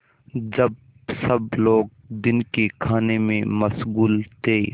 जब सब लोग दिन के खाने में मशगूल थे